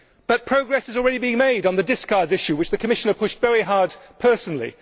But progress has already been made on the discards issue, which the Commissioner pushed very hard personally.